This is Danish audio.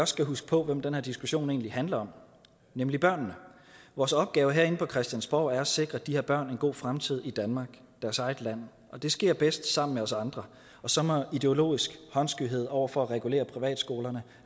skal huske hvem den her diskussion egentlig handler om nemlig børnene vores opgave herinde på christiansborg er at sikre de her børn en god fremtid i danmark deres eget land og det sker bedst sammen med os andre og så må ideologisk håndskyhed over for at regulere privatskolerne